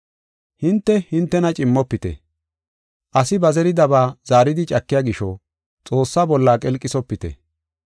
Hinte, hintena cimmofite. Asi ba zeridabaa zaaridi cakiya gisho Xoossaa bolla qelqisopite.